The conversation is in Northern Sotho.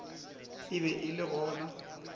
e be e le gona